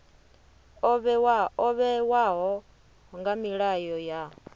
o vhewaho nga milayo ya